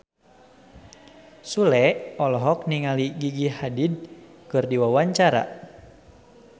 Sule olohok ningali Gigi Hadid keur diwawancara